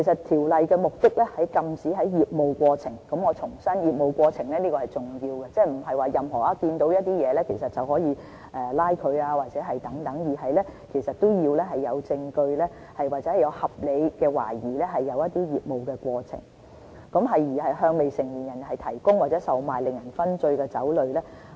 條例的目的是禁止在業務過程中——我重申：業務過程是重要的，即不是在任何情況下，都可以執法——根據證據或合理懷疑，有人在業務過程中向未成年人提供或售賣令人醺醉的酒類。